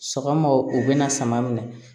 Sɔgɔma u bɛna sama minɛ